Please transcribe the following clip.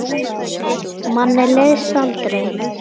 Manni leiðist aldrei.